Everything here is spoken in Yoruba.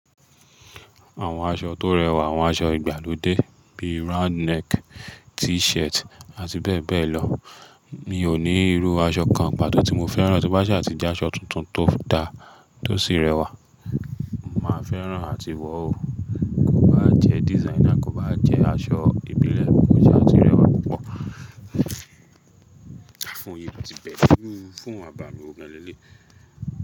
Àwọn aṣọ tó rẹwà, àwọn aṣọ ìgbàlódé bíi round neck, t-shirt àti bẹ́ẹ̀ bẹ́ẹ̀ lọ. Mi ò ní irú aṣọ kan pàtó tí mo fẹ́ràn, tí ó bá ṣe àti jẹ́ aṣọ tuntun tó da tó sì rẹwà, màá fẹ́ràn àti wọ̀ o. Kò bá jẹ́ designer, kò bá jẹ́ aṣọ ìbílẹ̀, kó ṣa ti rẹwà púpọ̀, foonu yi ti bẹ̀re irú foonu àbàmì wo gan leleyi.